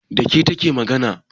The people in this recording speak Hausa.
Da ke take magana?